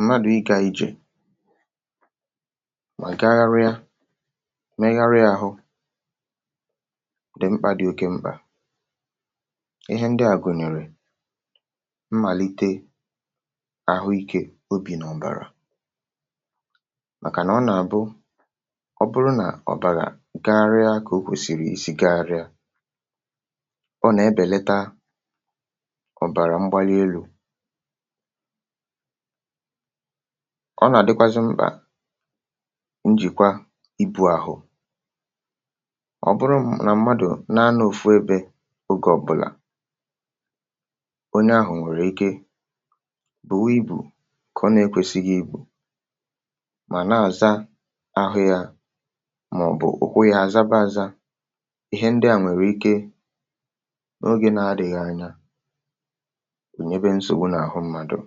mmadụ̀ ịgȧ ijè mà gagharịa, megharịa àhụ, dị̀ mkpà, dị̇ oke mkpà. Ihe ndị à gụ̀nyòrò mmàlite àhụikė obì n’ọ̀bàrà, màkà nà ọ nà-àbụ, ọ bụrụ nà ọ̀bàrà gagharịa kà o kwèsìrì isi gagharịa, ọ nà-ebèleta ọ̀bàrà mgbalielu̇, ọ nà-àdịkwazị mbà njìkwa ibu̇ ahụ̀. Ọ bụrụ nà mmadụ̀ na-ana òfu ebe, ogè ọbụlà onye ahụ̀ nwèrè ike bù nwe ibù, kà ọ na-ekwėsighi igbù, mà nà-àza ahụ̀ ya, màọ̀bụ̀ kwụ yȧ àzaba ȧzȧ, um ihe ndịà nwèrè ike n’ogė na-adị̇ghị anya n’ònyèbe nsògbu n’àhụ mmadụ̀.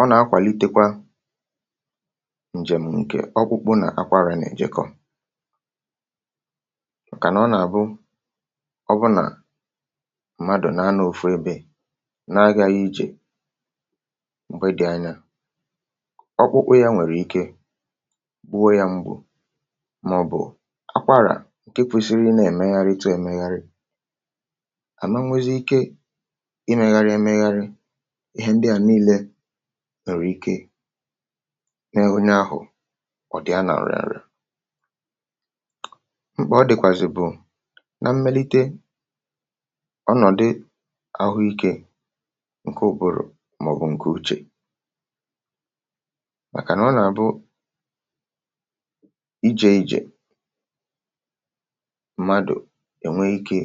Ọ nà-akwàlitekwa ǹjem ǹkè ọkpụ̇ kpụ nà-akwarà nà-èjikọ̀ ọ̀kànà. Ọ nà-àbụ ọbụ nà mmadụ̀ na-anȧ ofu ebe n’agȧ ijè, m̀gbè dị̀ anya, ọkpụ̇ kpụ̇ ya nwèrè ike kwụọ̇ ya mgbù, màọ̀bụ̀ akwarà. ǹke kwesiri na-èmegharịta èmegharị nwère ike n’enwunye ahụ̀, ọ̀ dị̀a nà ṅrị̇ ṅrị̇ mkpà. Ọ dị̀kwàzị̀ bụ̀ na mmelite ọnọ̀dụ ahụ ikė ǹke ụ̀bụrụ̀, màọ̀bụ̀ ǹkè, màkà nà ọ nà-àbụ ije ejè mmadụ̀ ènwe ikė,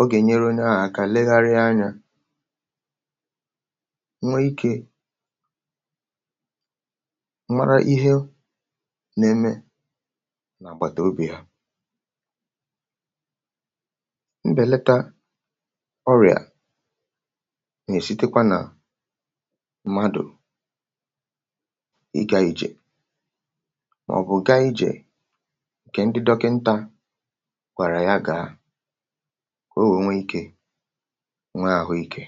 ogè nyere onye ahụ̀ aka legharịa anyȧ, nwee ikė mara ihe na-eme n’àgbàtàobì ha. um Mbèleta ọrị̀à nà-èsitekwa nà mmadụ̀ ịga ijè, màọ̀bụ̀ ǹga ijè, o nwè nwee ikė, nwee ahụ ikė.